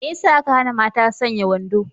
Me yasa aka hana mata sanya wando?